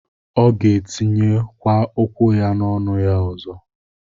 Ọ gētiye kwa ukwu-ya n'ọnu-ya ọzọ.